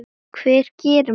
Hvað gerir maður?